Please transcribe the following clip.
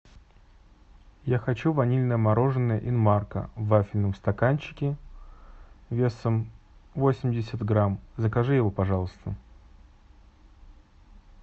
я хочу ванильное мороженое инмарко в вафельном стаканчике весом восемьдесят грамм закажи его пожалуйста